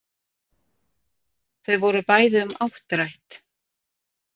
Þau voru bæði um áttrætt